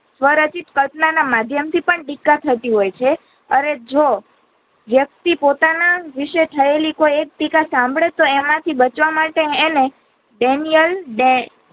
સ્વરચિત કલ્પના ના માધ્યમથી પણ ટીકા થતી હોઈ છે અને જો વ્યક્તિ પોતાના વિષે થયેલી કોઈ એક ટીકા સાંભળે તો એમાંથી બચવા માટે અને ડેનિયલ ડે